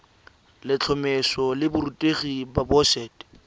letlhomeso la borutegi la boset